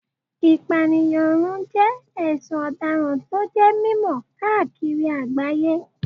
Ìpànìyànrun jẹ́ ẹ̀sùn ọ̀daràn tó jẹ́ mímọ̀ káàkiri àgbáyé